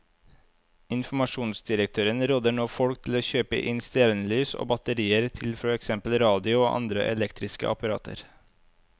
Informasjonsdirektøren råder nå folk til å kjøpe inn stearinlys og batterier til for eksempel radio og andre elektriske apparater.